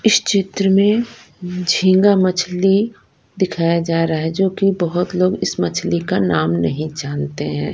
इस चित्र में अम झींगा मछली दिखाया जा रहा हैं जो की बहोत लोग इस मछली का नाम नहीं जानते हैं।